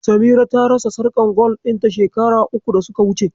Samira ta rasa sarƙar gwal ɗin ta shekara uku da suka wuce.